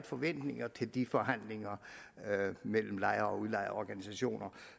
forventninger til de forhandlinger mellem lejer og udlejerorganisationer